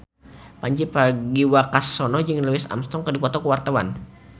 Pandji Pragiwaksono jeung Louis Armstrong keur dipoto ku wartawan